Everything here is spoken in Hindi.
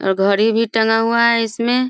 अ घड़ी भी टांगा हुआ है इसमें --